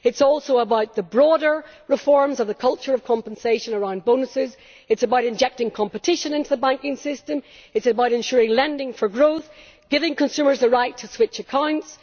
It is also about the broader reforms of the culture of compensation around bonuses, it is about injecting competition into the banking system, it is about ensuring lending for growth, giving consumers the right to switch accounts.